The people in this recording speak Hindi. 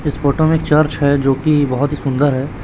इस फोटो में चर्च हैं जो की बहोत ही सुंदर हैं।